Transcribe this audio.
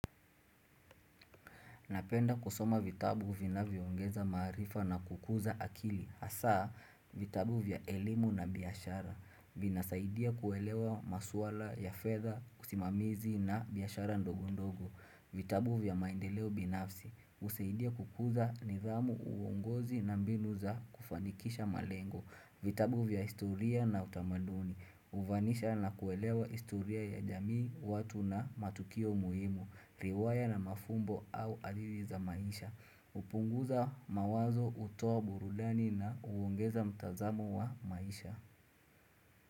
Napenda kusoma vitabu vinavyoongeza maarifa na kukuza akili hasa vitabu vya elimu na biashara, vinasaidia kuelewa maswala ya fedha usimamizi na biashara ndogondogo vitabu vya maendeleo binafsi. Husaidia kukuza nidhamu, uongozi na mbinu za kufanikisha malengo. Vitabu vya historia na utamaduni hufamisha na kuelewa historia ya jamii, watu na matukio muhimu. Riwaya na mafumbo au adili za maisha hupunguza mawazo, hutoa burudani na huongeza mtazamu wa maisha.